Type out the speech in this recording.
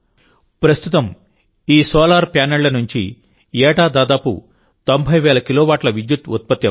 ప్రస్తుతం ఈ సోలార్ ప్యానెళ్ల నుంచి ఏటా దాదాపు 90వేల కిలోవాట్ల విద్యుత్తు ఉత్పత్తి అవుతోంది